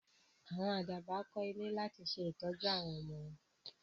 Àwọn Àdàbà kó ilé láti ṣe tọ́jú àwọn ọmọ wọn